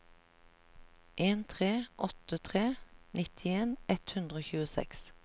en tre åtte tre nittien ett hundre og tjueseks